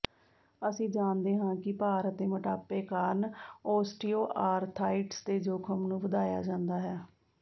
ਅਸੀਂ ਜਾਣਦੇ ਹਾਂ ਕਿ ਭਾਰ ਅਤੇ ਮੋਟਾਪੇ ਕਾਰਨ ਓਸਟੀਓਆਰਥਾਈਟਿਸ ਦੇ ਜੋਖਮ ਨੂੰ ਵਧਾਇਆ ਜਾਂਦਾ ਹੈ